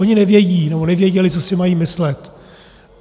Oni nevědí, nebo nevěděli, co si mají myslet.